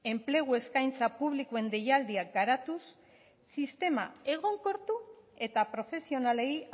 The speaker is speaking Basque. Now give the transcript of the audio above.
enplegu eskaintza publikoen deialdiak garatuz sistema egonkortu eta profesionalei